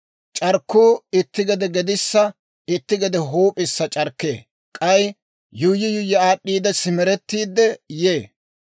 C'arkkuu itti gede gedissa itti gede huup'issa c'arkkee; k'ay yuuyyi yuuyyi aad'd'iide, simerettiide yee.